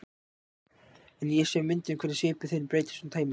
En ég sé á myndum hvernig svipur þinn breytist og tæmist.